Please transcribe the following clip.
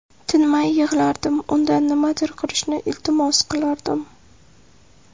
Tinmay yig‘lardim, undan nimadir qilishni iltimos qilardim.